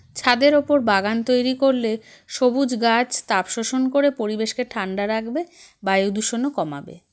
ছাদের ওপর বাগান তৈরি করলে সবুজ গাছ তাপ শোষন করে পরিবেশকে ঠান্ডা রাখবে বায়ু দূষণও কমাবে